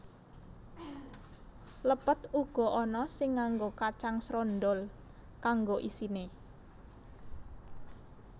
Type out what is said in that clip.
Lepet uga ana sing nganggo kacang srondhol kanggo isine